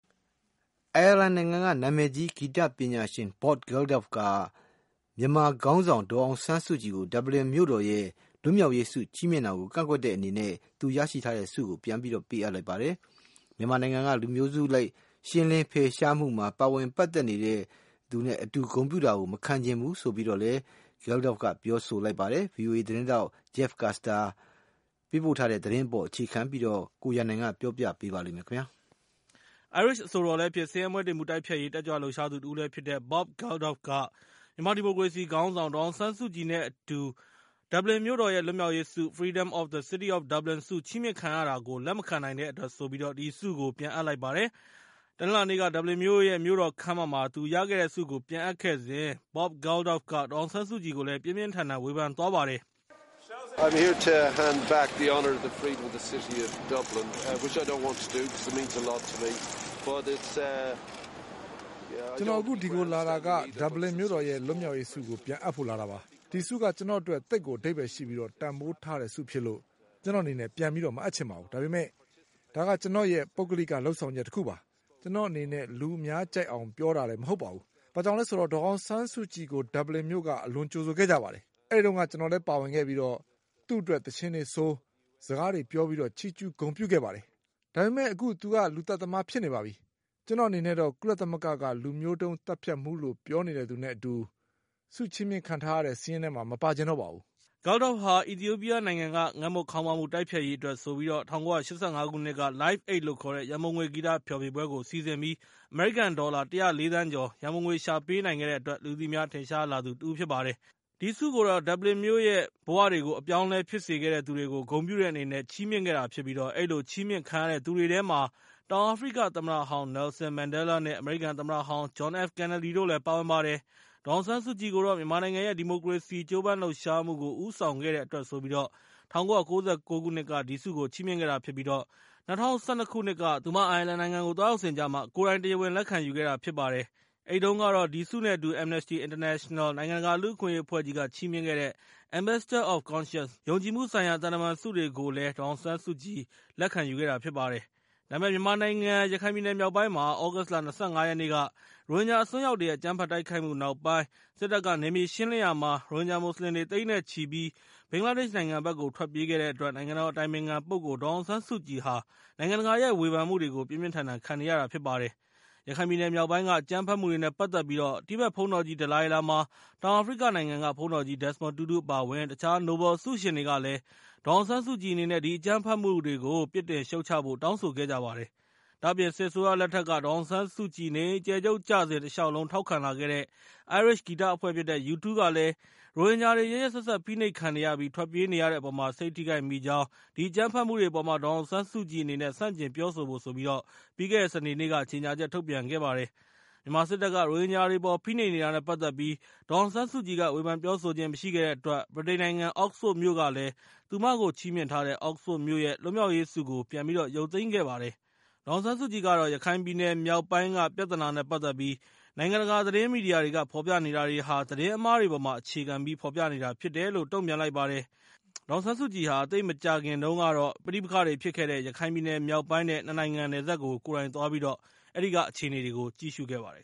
အိုင်ယာလန်နိုင်ငံက နာမည်ကြီး ဂီတပညာရှင် Bob Geldof က မြန်မာခေါင်းဆောင် ဒေါ်အောင်ဆန်းစုကြည်ကို ဒဗ္ဗလင်မြို့တော်ရဲ့ လွတ်မြောက်ရေး ဆုချီးမြှင့်တာကို ကန့်ကွက်တဲ့အနေနဲ့ သူ့ရဲ့ဆုကို ပြန်ပေးအပ်လိုက်ပါတယ်။ မြန်မာနိုင်ငံက လူမျိုးစုအလိုက်ရှင်းလင်း ၊ ဖယ်ရှားမှုမှာ ပါဝင်ပတ်သက်နေတဲ့သူနဲ့ အတူဂုဏ်ပြုတာမခံချင်ဘူးလို့ Geldof က ပြောလိုက်ပါတယ်။ ဗွီအိုအေ သတင်းထောက် Jeff Custer ရဲ့ သတင်းအပေါ် အခြေခံပြီး ကိုရန်နိုင်က ပြောပြပေးမှာဖြစ်ပါတယ်။ အိုင်းရစ်အဆိုတော်လည်းဖြစ်၊ ဆင်းရဲမွဲတေမှုတိုက်ဖျက်ရေး တက်ကြွလှုပ်ရှားသူတဦးလည်းဖြစ်တဲ့ Bob Geldof က - ဒေါ်အောင်ဆန်းစုကြည်နဲ့အတူ ဒဗ္ဗလင်မြို့တော်ရဲ့ လွတ်မြောက်ရေး (Freedom of the City of Dublin) ဆု ချီးမြှင့် ခံထားရတာကို လက်မခံနိုင်တဲ့အတွက်ဆိုပြီး၊ ဒီဆုကို ပြန်အပ်လိုက်တာဖြစ်ပါတယ်။ တနင်္လာနေ့က ဒဗ္ဗလင်မြို့ရဲ့ မြို့တော်ခန်းမမှာ သူရခဲ့တဲ့ဆုကို ပြန်အပ်ခဲ့စဉ် Bob Geldof က ဒေါ်အောင်ဆန်းစုကြည်ကို ပြင်းပြင်းထန်ထန်ဝေဖန်သွားခဲ့ပါတယ်။ "ကျနော်အခု ဒီကိုလာတာဟာ ဒဗ္ဗလင်မြို့တော်ရဲ့ လွတ်မြောက်ရေးဆုကို ပြန်အပ်ဖို့လာတာပါ။ ဒီဆုက ကျနော်အတွက် သိပ်ကိုအဓိပ္ပါယ်ရှိပြီး တန်ဖိုးထားတဲ့ဆုဖြစ်လို့ ကျနော်အနေနဲ့ ပြန်မအပ်ချင်ပါဘူး။ ဒါပေမဲ့ ဒါက ကျနော်ရဲ့ ပုဂ္ဂလိကလုပ်ဆောင်ချက်တခုပါ။ ကျနော်အနေနဲ့ လူအများကြိုက်လာအောင် ပြောတာလည်း မဟုတ်ပါဘူး။ ဘာလို့လဲဆိုတော့ ဒေါ်အောင်ဆန်းစုကြည်ကို ဒဗ္ဗလင်မြို့က အလွန်ကြိုဆိုခဲ့ကြတယ်။ အဲဒီမှာ ကျနော်လည်း ပါဝင်ခဲ့ပြီး ၊ သူမအတွက် သီချင်းတွေဆို၊ စကားတွေပြောပြီး ချီးကျူးဂုဏ်ပြုခဲ့ကြတယ်။ ဒါပေမဲ့ သူမက လူသတ်သမားဖြစ်နေတယ်။ ကျနော်အနေနဲ့တော့ ကုလသမဂ္ဂလူမျိုးတုံးသတ်ဖြတ်မှုလို့ ပြောနေတဲ့သူနဲ့ အတူ ဆုချီးမြှင့်ခံထားရတဲ့ စာရင်းထဲမှာ မပါချင်ပါဘူး။" Geldof ဟာ အီသီယိုပီးယားနိုင်ငံက ငတ်မွတ်ခေါင်းပါးမှုတိုက်ဖျက်ရေးအတွက်ဆိုပြီး ၁၉၈၅ ခုနှစ်က Live Aid လို့ခေါ်တဲ့ ရန်ပုံငွေဂီတ ဖျော်ဖြေပွဲကို စီစဉ်ပြီး အမေရိကန်ဒေါ်လာ ၁၀၄ သန်းကျော် ရန်ပုံငွေရှာဖွေပေးနိုင်ခဲ့တဲ့အတွက် လူသိများထင်ရှားသူတဦးဖြစ်ပါတယ်။ ဒီဆုကိုတော့ ဒဗ္ဗလင်မြို့မြို့ရဲ့ဘဝတွေကို အပြောင်းအလဲဖြစ်စေခဲ့တဲ့သူတွေကို ဂုဏ်ပြုတဲ့အနေနဲ့ ချီးမြှင့်ခဲ့တာဖြစ်ပြီး၊ အဲဒီလိုချီးမြှင့်ခံရတဲ့သူတွေထဲမှာ တောင်အာဖရိကသမ္မတဟောင်း Nelson Mandela နဲ့ အမေရိကန်သမ္မတဟောင်း John F. Kennedy တို့လည်း ပါဝင်ပါတယ်။ ဒေါ်အောင်ဆန်းစုကြည်ကိုတော့ မြန်မာနိုင်ငံရဲ့ ဒီမိုကရေစီရေးကြိုးပမ်းလှုပ်ရှားမှုကို ဦးဆောင်ခဲ့တဲ့အတွက်ဆိုပြီး ၊ ၁၉၉၉ ခုနှစ်က ဒီဆုကို ချီးမြှင့်ခဲ့တာဖြစ်ပြီး၊ ၂၀၁၂ ခုနှစ်က သူမအိုင်ယာလန်နိုင်ငံကိုသွားရောက်စဉ်ကျမ သူမကိုယ်တိုင် တရားဝင်လက်ခံယူခဲ့တာဖြစ်ပါတယ်။ အဲဒီတုန်းက ဒီဆုနဲ့အတူ Amnesty International နိုင်ငံတကာလူ့အခွင့်အရေးအဖွဲ့ကြီး က ချီးမြှင့်တဲ့ Ambassador of Conscience ယုံကြည်မှုဆိုင်ရာ သံတမန်ဆုတွေကိုလည်း ဒေါ်အောင်ဆန်းစုကြည် ကိုယ်တိုင်လက်ခံယူခဲ့တာ ဖြစ်ပါတယ်။ ဒါပေမဲ့ မြန်မာနိုင်ငံ ရခိုင်ပြည်နယ်မြောက်ပိုင်းမှာ သြဂုတ်လ ၂၅ ရက်နေ့က ရိုဟင်ဂျာအစွန်းရောက်တွေရဲ့ အကြမ်းဖက်တိုက်ခိုက်မှု နောက်ပိုင်း စစ်တပ်ကနယ်မြေရှင်းလင်းရာမှာ ရိုဟင်ဂျာမွတ်စလင်တွေ သိန်းနဲ့ချီပြီး ဘင်္ဂလားဒေ့ရှ်နိုင်ငံဘက်ကို ထွက်ပြေးခဲ့ကြတဲ့အတွက် နိုင်ငံတော်အတိုင်ပင်ခံပုဂ္ဂိုလ် ဒေါ်အောင်ဆန်းစုကြည်ဟာ နိုင်ငံတကာရဲ့ ဝေဖန်မှုတွေကို ပြင်းပြင်းထန်ထန် ခံနေရတာဖြစ်ပါတယ်။ ရခိုင်ပြည်နယ်မြောက်ပိုင်းက အကြမ်းဖက်မှုတွေနဲ့ ပတ်သက်ပြီး တိဘက်ဘုန်းတော်ကြီး ဒလိုင်းလားမား၊ တောင်အာဖရိကနိုင်ငံက ဘုန်းတော်ကြီး ဒက်မွန်တူးတူး အပါအဝင် တခြားနိုဘယ်ဆုရှင်တွေကလည်း ၊ ဒေါ်အောင်ဆန်းစုကြည်အနေနဲ့ ဒီအကြမ်းဖက်မှုတွေကို ပြစ်တင်ရှုတ်ချဖို့ တောင်းဆိုခဲ့ကြပါတယ်။ ဒါ့အပြင် စစ်အစိုးရလက်ထက် ဒေါ်အောင်ဆန်းစုကြည် နေအိမ်အကျယ်ချုပ်ကျစဉ် တလျှောက်လုံးထောက်ခံလာခဲ့တဲ့ အိုင်းရစ်ဂီတအဖွဲ့ဖြစ်တဲ့ U2 ကလည်း ၊ ရိုဟင်ဂျာတွေ ရက်ရက်စက်စက်ဖိနှိပ်ခံနေရပြီး ၊ ထွက်ပြေးနေရတဲ့အပေါ် စိတ်ထိခိုက်မိပြီး၊ ဒီအကြမ်းဖက်မှုတွေအပေါ် ဒေါ်အောင်ဆန်းစုကြည်အနေနဲ့ ဆန့်ကျင်ပြောဆိုဖို့ ပြီးခဲ့တဲ့စနေနေ့က ကြေငြာချက်ထုတ်ပြန်ခဲ့ပါတယ်။ မြန်မာစစ်တပ်က ရိုဟင်ဂျာတွေအပေါ်ဖိနှိပ်နေတာနဲ့ ပတ်သက်ပြီး ဒေါ်အောင်ဆန်းစုကြည်က ဝေဖန်ပြောဆိုခြင်းမရှိခဲ့တဲ့အတွက် ၊ ဗြိတိန်နိုင်ငံ Oxford မြို့ကလည်း သူမကိုချီးမြှင့်ထားတဲ့ Oxford မြို့ရဲ့ လွတ်မြောက်ရေးဆုကို ပြန်ရုတ်သိမ်းခဲ့ပါတယ်။ ဒေါ်အောင်ဆန်းစုကြည်ကတော့ ရခိုင်ပြည်နယ်မြောက်ပိုင်းက ပြဿနာနဲ့ ပတ်သက်ပြီး၊ နိုင်ငံတကာ သတင်းမီဒီယာတွေက ဖော်ပြနေတာတွေဟာ သတင်းမှားတွေအပေါ်မှာ အခြေခံပြီး ဖော်ပြနေတာဖြစ်တယ်လို့ ပြောလိုက်ပါတယ်။ဒေါ်အောင်ဆန်းစုကြည်ဟာ သိပ်မကြာခင်ကတော့ ပဋိပက္ခတွေဖြစ်ခဲ့တဲ့ ရခိုင်ပြည်နယ်မြောက်ပိုင်း နဲ့ ၂ နိုင်ငံ နယ်စပ်ကို ကိုယ်တိုင်သွား ပြီးတော့ အဲဒီကအခြေအနေတွေကိုကြည့်ရှုခဲ့ပါတယ်